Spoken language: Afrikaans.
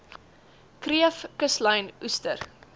kreef kuslyn oester